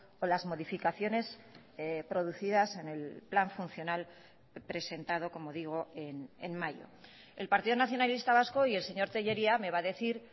o las modificaciones producidas en el plan funcional presentado como digo en mayo el partido nacionalista vasco y el señor tellería me va a decir